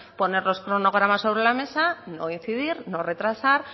poner los cronogramas sobre la mesa no incidir no retrasar